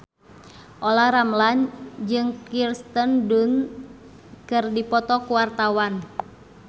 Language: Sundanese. Olla Ramlan jeung Kirsten Dunst keur dipoto ku wartawan